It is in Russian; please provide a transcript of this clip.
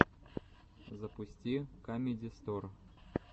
запусти камеди стор